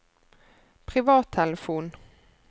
privattelefon